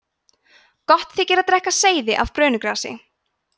gott þykir að drekka seyðið af brönugrasi